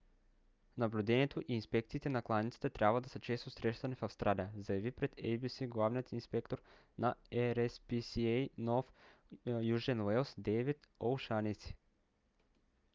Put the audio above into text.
наблюдението и инспекциите на кланиците трябва да са често срещани в австралия заяви пред abc главният инспектор на rspca нов южен уелс дейвид о'шанеси